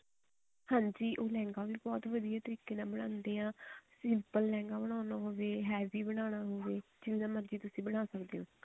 ਹਾਂਜੀ ਉਹ ਲਹਿੰਗਾ ਵੀ ਬਹੁਤ ਵਧੀਆ ਤਰੀਕੇ ਨਾਲ ਬਣਾਉਂਦੇ ਆ simple ਲਹਿੰਗਾ ਬਨਵਾਉਣਾ ਹੋਵੇ heavy ਬਣਾਉਣਾ ਹੋਵੇ ਜਿਵੇਂ ਦਾ ਮਰਜ਼ੀ ਤੁਸੀਂ ਬਣਾ ਸਕਦੇ ਹੋ